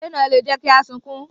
Eré náà lè jẹ kí a sunkún.